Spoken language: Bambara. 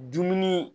Dumuni